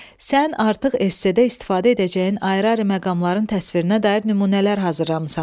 Sən artıq esse-də istifadə edəcəyin ayrı-ayrı məqamların təsvirinə dair nümunələr hazırlamısan.